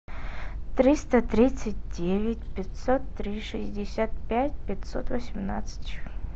триста тридцать девять пятьсот три шестьдесят пять пятьсот восемнадцать